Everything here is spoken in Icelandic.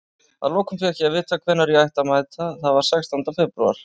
Að lokum fékk ég að vita hvenær ég ætti að mæta, það var sextánda febrúar.